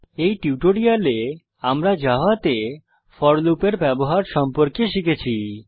এই টিউটোরিয়ালে আমরা জাভাতে ফোর লুপের ব্যবহার সম্পর্কে শিখেছি